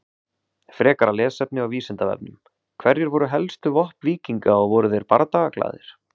Frekara lesefni á Vísindavefnum: Hver voru helstu vopn víkinga og voru þeir bardagaglaðir?